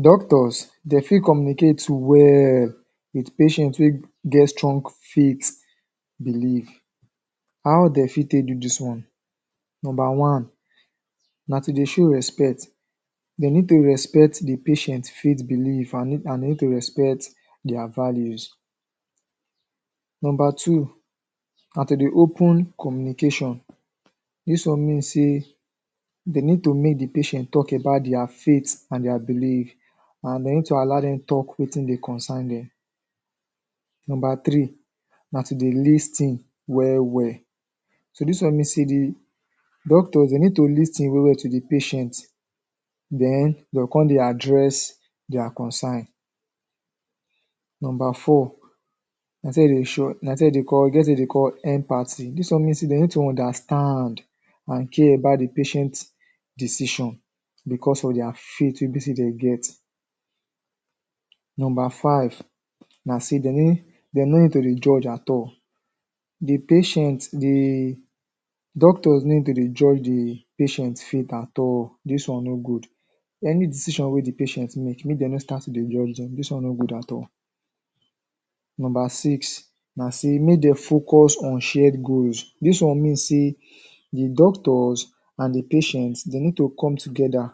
Doctors, de fit communicate well with patient wey get strong faith belief. How de fit take do dis one? Nomba one na to dey show respect. De need to respect the patient faith belief an need to respect dia values. Nomba two na to de open communication. Dis one mean sey de need to make the patient talk about dia faith an dia belief, an de need to allow dem talk wetin dey concern dem. Nomba three na to dey lis ten well-well So dis one mean sey the doctors, de need to lis ten well-well to the patient, then de go con dey address dia concern. Nomba four e get wetin de dey call empathy. Dis one mean sey de need to understand an care about the patient decision becos of dia faith wey be sey de get. Nomba five na sey de no need to dey judge at all. The doctor no need to dey judge the patient faith at all. Dis one no good. Any decision wey the patient make, make de no start to dey judge dem. Dis one no good at all. Nomba six na sey make de focus on shared goals. Dis one mean sey the doctors an the patients, de need to come together,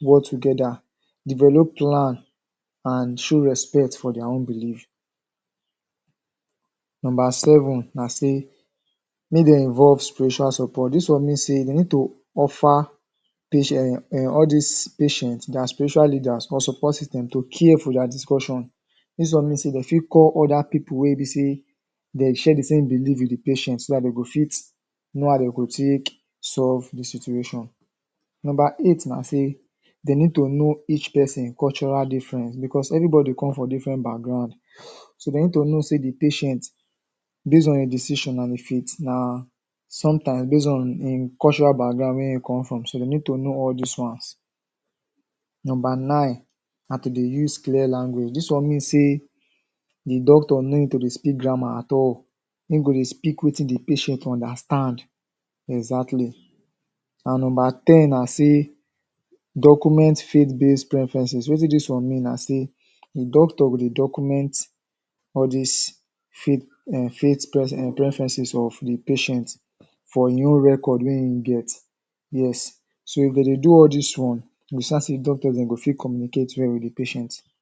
work together, develop plan an show respect for dia own belief. Nomba seven na sey make de involve spiritual support. Dis one mean sey de need to offer um all dis patient, dia spiritual leaders, or support system to care for dia discussion Dis one mean sey de fit call other pipu wey be sey de share the same belief with the patient so dat de go fit know how de go take solve the situation. Nomba eight na sey de need to know each peson cultural difference becos everybody come from different background. So, de need to know sey the patient based on ein decision an ein faith na sometimes based on ein cultural background wey ein come from so dey need to know all dis ones. Nomba nine na to dey use clear language. Dis one mean sey the doctor no need to dey speak grammar at all. Ein go dey speak wetin the patient understand. Exactly. An nomba ten na sey document faith-based preferences. Wetin dis one mean na sey the doctor go dey document all dis faith um preferences of the patient for ein own record wey ein get. Yes. So, e go dey do all dis one doctors dem go fit communicate well with the patient.